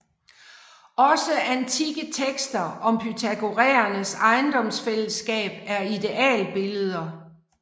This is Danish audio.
Også antikke tekster om pythagoræernes ejendomsfællesskab er idealbilleder